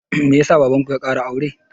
Me ya sa baban ku ya ƙara aure?